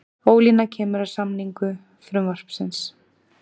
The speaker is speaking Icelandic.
Ólína kemur að samningu frumvarpsins